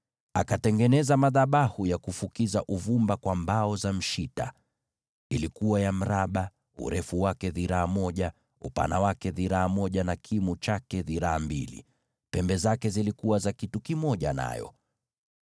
Akatengeneza madhabahu ya kufukizia uvumba kwa mbao za mshita. Ilikuwa ya mraba, urefu na upana wake dhiraa moja, na kimo cha dhiraa mbili, nazo pembe zake zilikuwa kitu kimoja nayo.